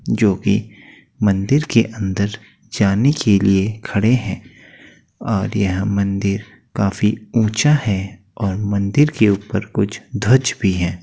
जो भी मंदिर के अंदर जाने के लिए खड़े हैं और यह मंदिर काफी ऊँचा हैं और मंदिर के ऊपर कुछ ध्वज भी हैं।